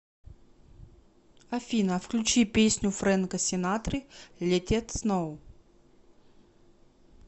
афина включи песню френка сенатры летет сноу